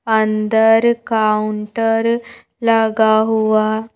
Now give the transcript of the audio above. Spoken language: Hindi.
अंदर काउंटर लगा हुआ--